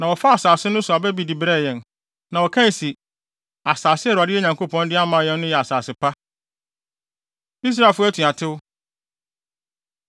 Na wɔfaa asase no so aba bi de brɛɛ yɛn. Na wɔkae se, asase a Awurade yɛn Nyankopɔn de ama yɛn no yɛ asase pa. Israelfo Atuatew